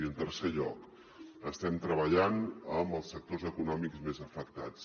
i en tercer lloc estem treballant amb els sectors econòmics més afectats